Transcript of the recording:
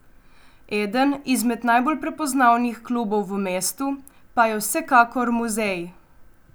Eden izmed najbolj prepoznavnih klubov v mestu pa je vsekakor Muzej.